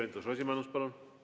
Keit Pentus-Rosimannus, palun!